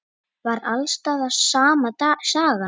Var alls staðar sama sagan?